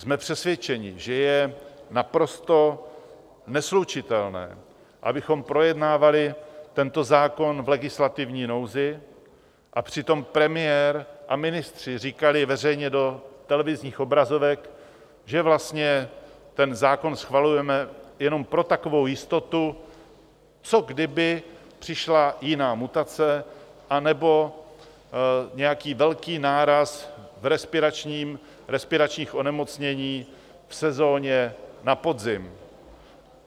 Jsme přesvědčeni, že je naprosto neslučitelné, abychom projednávali tento zákon v legislativní nouzi a přitom premiér a ministři říkali veřejně do televizních obrazovek, že vlastně ten zákon schvalujeme jenom pro takovou jistotu, co kdyby přišla jiná mutace anebo nějaký velký náraz v respiračních onemocněních v sezóně na podzim.